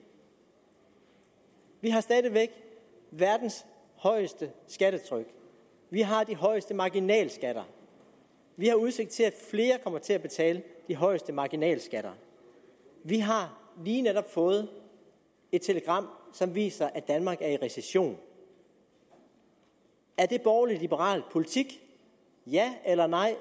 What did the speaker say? vi har stadig væk verdens højeste skattetryk vi har de højeste marginalskatter vi har udsigt til at flere kommer til at betale de højeste marginalskatter vi har lige netop fået et telegram som viser at danmark er i recession er det borgerlig liberal politik ja eller nej